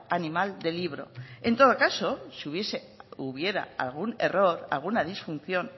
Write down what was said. animal de libro en todo caso si hubiese o hubiera algún error alguna disfunción